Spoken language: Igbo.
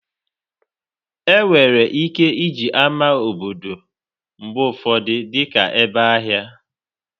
Enwere ike iji ámá obodo mgbe ụfọdụ dị ka ebe ahịa.